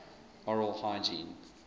oral hygiene